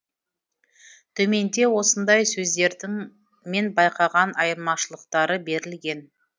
төменде осындай сөздердің мен байқаған айырмашылықтары берілген